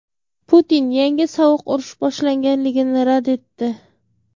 Putin yangi sovuq urush boshlanganligini rad etdi.